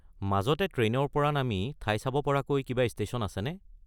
মাজতে ট্ৰেইনৰ পৰা নামি ঠাই চাব পৰাকৈ কিবা ষ্টেশ্যন আছেনে?